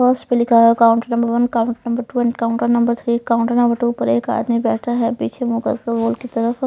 उसपर पर लिखा हुआ है counter number one counter number two counter number three counter number two पर एक आदमी बैठा हुआ है बिछे मुँह कर के बोर्ड की तरफ --